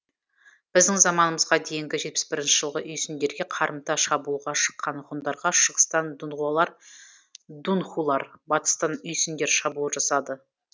біздің заманымызға дейінгі жетпіс бірінші жылы үйсіндерге қарымта шабуылға шыққан ғұндарға шығыстан дунхулар батыстан үйсіндер шабуыл жасады